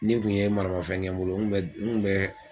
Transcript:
N'i kun ye maramafɛn kɛ n bolo n kun bɛ.